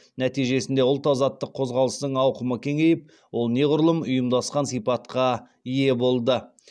нәтижесінде ұлт азаттық қозғалыстың ауқымы кеңейіп ол неғұрлым ұйымдасқан сипатқа ие болды